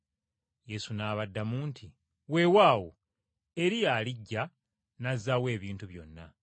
Yesu n’abaddamu nti, “Weewaawo, Eriya alijja n’azzaawo ebintu byonna.